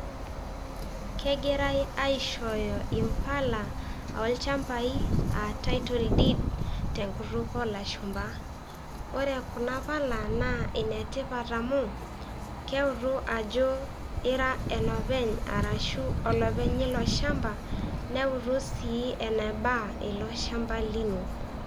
Kegirai aishooyo impala olchampai aa Title deed tenkutuk oolashumba, ore kuna pala naa inetipat amu keutu ajo ira enopeny arashu olopeny lilo shamba neutu sii eneba ilo shamba lino.